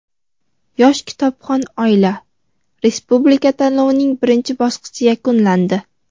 "Yosh kitobxon oila" respublika tanlovining birinchi bosqichi yakunlandi.